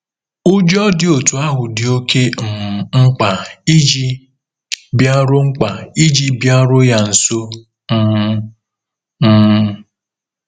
Ụjọ dị otú ahụ dị oké um mkpa iji bịaruo mkpa iji bịaruo ya nso um. um